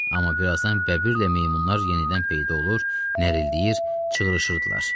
Amma birazdan bəbirlə meymunlar yenidən peyda olur, nərildəyir, çığrışırdılar.